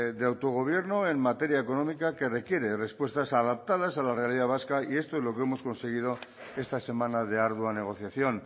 de autogobierno en materia económica que requiere respuestas adoptadas a la realidad vasca y esto es lo que hemos conseguido esta semana de ardua negociación